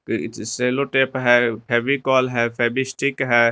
सेलो tape है फेविकोल है Fevistick है।